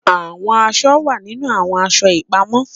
Awọn aṣọ wa ninu awọn aṣọ ipamọ